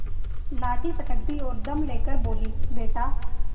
लाठी पटक दी और दम ले कर बोलीबेटा